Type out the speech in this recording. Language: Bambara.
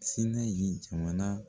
Sinɛyi jamana